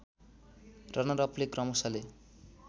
रनरअपले क्रमशःले